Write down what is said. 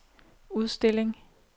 udstilling